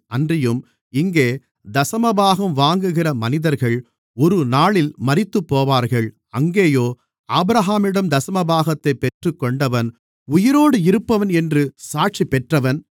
அன்றியும் இங்கே தசமபாகம் வாங்குகிற மனிதர்கள் ஒருநாளில் மரித்துப்போவார்கள் அங்கேயோ ஆபிரகாமிடம் தசமபாகத்தைப் பெற்றுக்கொண்டவன் உயிரோடு இருப்பவன் என்று சாட்சிபெற்றவன்